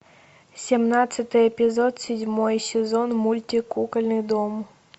семнадцатый эпизод седьмой сезон мультик кукольный дом